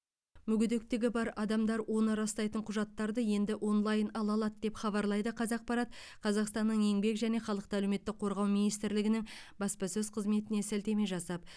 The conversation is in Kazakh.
мүгедектігі бар адамдар оны растайтын құжаттарды енді онлайн ала алады деп хабарлайды қазақпарат қазақстанның еңбек және халықты әлеуметтік қорғау министрлігінің баспасөз қызметіне сілтеме жасап